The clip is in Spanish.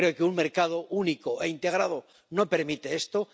Creo que un mercado único e integrado no permite esto.